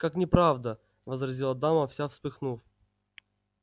как неправда возразила дама вся вспыхнув